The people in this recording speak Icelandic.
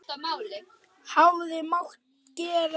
Hefði mátt gera það fyrr?